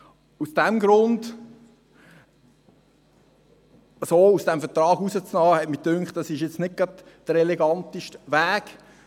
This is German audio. Aus diesem Grund so aus dem Vertrag auszusteigen, ist meiner Meinung nach nicht gerade der eleganteste Weg.